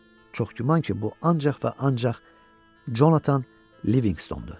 çox güman ki, bu ancaq və ancaq Jonathan Livinqstondur.